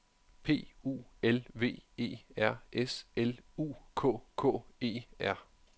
P U L V E R S L U K K E R